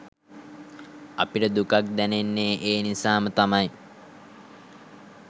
අපිට දුකක් දැනෙන්නේ ඒ නිසාම තමයි